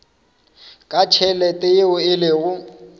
ka tšhelete yeo e lego